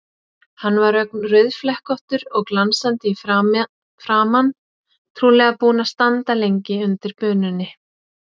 Hann var ögn rauðflekkóttur og glansandi í framan, trúlega búinn að standa lengi undir bununni.